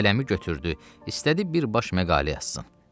Qələmi götürdü, istədi bir baş məqalə yazsın.